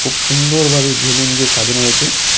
সুন্দরভাবে বেলুন দিয়ে সাজানো হয়েছে।